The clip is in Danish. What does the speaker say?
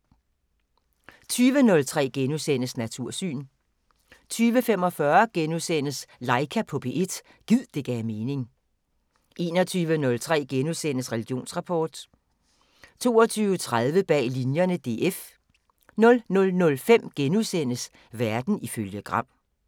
20:03: Natursyn * 20:45: Laika på P1 – gid det gav mening * 21:03: Religionsrapport * 22:30: Bag Linjerne – DF 00:05: Verden ifølge Gram *